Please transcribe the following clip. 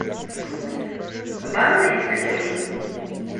банный экстрим